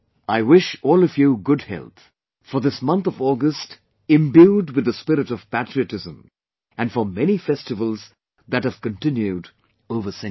I wish all of you best wishes for good health, for this month of August imbued with the spirit of patriotism and for many festivals that have continued over centuries